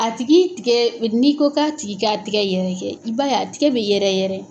A tigi tigɛ n'i ko k'a tigi k'a tigɛ yɛrɛkɛ i b'a ye a tigɛ bɛ yɛrɛ yɛrɛ.